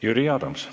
Jüri Adams.